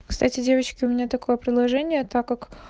кстати девочки у меня такое приложение так как